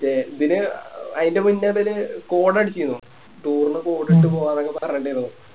ഇതിന് അതിൻറെ മുന്നേ ഒര് Code അടിചിന്നു Toure ന് Code ഇട്ട് പോവന്നൊക്കെ പറഞ്ഞിട്ടിണ്ടായി